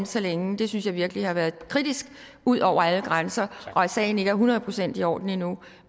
så længe det synes jeg virkelig har været kritisk ud over alle grænser og at sagen ikke er hundrede procent i orden endnu